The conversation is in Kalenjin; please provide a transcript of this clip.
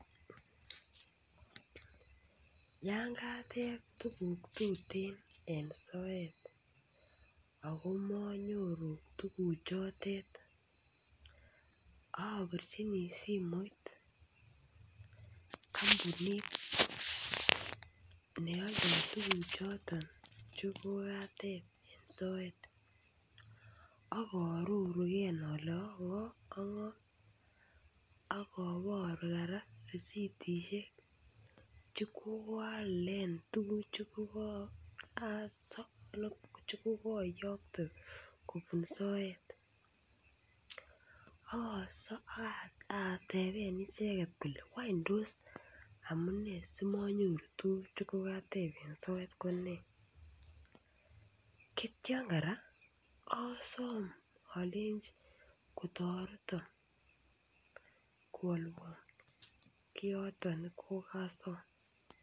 Yan kateb tuguk tuten eng soet ago monyoru tuguchotet obirjini simoit kompunit ne oldo tuguchoton che kokateb eng soet ak arorugen ole ongo ak ngo ak oboru korak resitisiek che kokaalen tuguk che kokoyokte kobun soet ak asom ak ateben icheket kole wany tos amunee simonyoru tuguk che kokateb eng soet ko nee? Kityon korak osom olenji kotoreton kwolwon kioton ne kokosom.